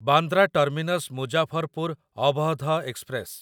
Bandra terminus Muzaffarpur Awadh express